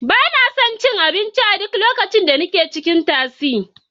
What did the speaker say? Ba na son cin abinci a duk lokacin da nake cikin tasi.